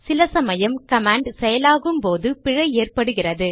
சில சமயம் கமாண்ட் செயலாகும் போது பிழை ஏற்படுகிறது